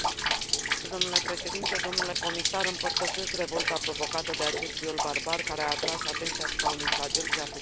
Împărtășesc revolta provocată de acest viol barbar, care a atras atenția asupra unui flagel ce afectează nenumărate fete și femei din India.